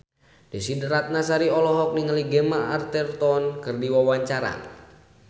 Desy Ratnasari olohok ningali Gemma Arterton keur diwawancara